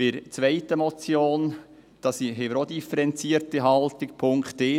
Zur zweiten Motion haben wir auch eine differenzierte Haltung.